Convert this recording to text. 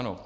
Ano.